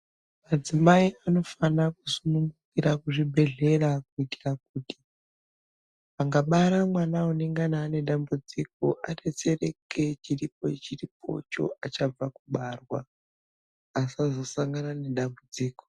Madzimai anofanira kusu ungukira kuzvibhedhlera kuitira kuti akabara mwana anenge ane dambudziko adetsereke chiripo ripopo achangobva kubarwa asazosangana nedambudziko.